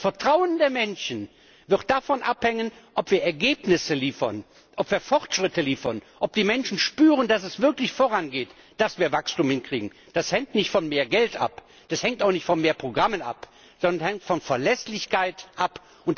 Das Vertrauen der Menschen wird davon abhängen, ob wir Ergebnisse liefern, ob wir Fortschritte liefern, ob die Menschen spüren, dass es wirklich vorangeht, dass wir Wachstum hinkriegen. Das hängt nicht von mehr Geld ab, das hängt auch nicht von mehr Programmen ab, sondern das hängt von Verlässlichkeit ab.